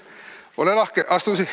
Ole lahke!